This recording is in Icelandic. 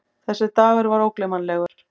Þessi dagur var ógleymanlegur.